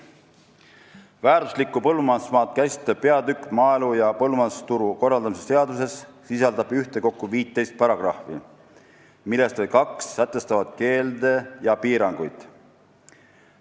Väärtuslikku põllumajandusmaad käsitlev peatükk maaelu ja põllumajandusturu korraldamise seaduses sisaldab ühtekokku 15 paragrahvi, millest vaid kaks sätestavad keelde ja piiranguid.